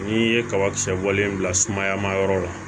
N'i ye kabakisɛ bɔlen bila sumaya ma yɔrɔ la